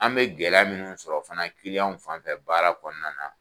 An bɛ gɛlɛya minnuw sɔrɔ fana kiliyanw fanfɛ baara kɔnɔna na.